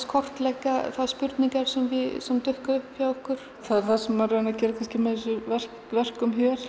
kortleggja þær spurningar sem dúkkuðu upp hjá okkur það sem maður er að gera með þessum verkum hér er